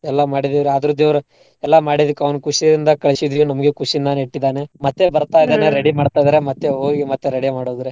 ಎಲ್ಲ ಮಾಡಿದವ್ರೀ ಆದ್ರೂ ದೇವ್ರ ಎಲ್ಲಾ ಮಾಡಿದಕ್ಕ್ ಅವ್ನ ಖುಶಿಯಿಂದ ಕಳ್ಸಿದ್ವಿ ನಮ್ಗು ಖುಶಿಯಿಂದನೇ ಇಟ್ಟಿದಾನೇ ಮತ್ತೆ ಬರ್ತಾ ready ಮಾಡ್ತಿದಾರ ಮತ್ತೆ ಹೋಗಿ ಮತ್ತೆ ready ಮಾಡೋದ್ರೀ.